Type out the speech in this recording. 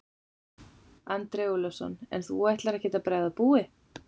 Andri Ólafsson: En þú ætlar ekkert að bregða búi?